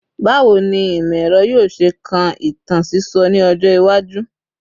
Bawo ni imọ-ẹrọ yoo ṣe kan itan sisọ ni ọjọ iwaju?